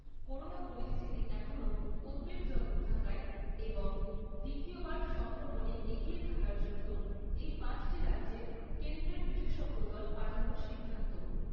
Corona পরিস্থিতি এখনো উদ্বেগজনক থাকায় এবং দ্বিতীয়বার সংক্রমণে এগিয়ে থাকার জন্য, এই পাঁচটি রাজ্যে কেন্দ্রের বিশেষজ্ঞ দল পাঠানোর সিদ্ধান্ত।